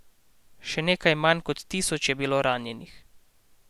Še nekaj manj kot tisoč je bilo ranjenih.